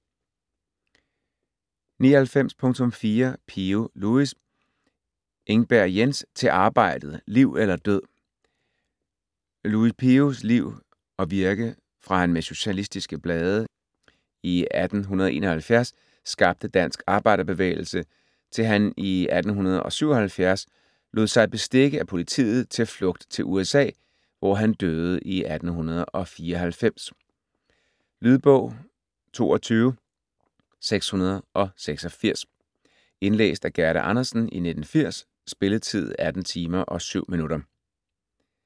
99.4 Pio, Louis Engberg, Jens: Til arbejdet! Liv eller død! Louis Pios liv og virke fra han med "Socialistiske blade" 1871 skabte dansk arbejderbevægelse til han i 1877 lod sig bestikke af politiet til flugt til USA, hvor han døde 1894. Lydbog 22686 Indlæst af Gerda Andersen, 1980. Spilletid: 18 timer, 7 minutter.